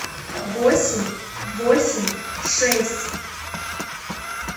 восемь восемь шесть